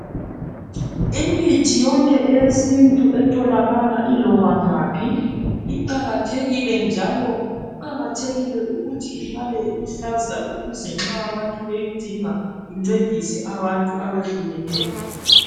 Imithi yonke eyesintu etholakala iloba ngaphi iqakathekile njalo kuqakathekile ukuthi ihlale iluhlaza ukuze nxa abantu beyidinga incedise abantu abehlukeneyo.